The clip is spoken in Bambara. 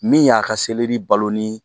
Min y'a ka seleri balo ni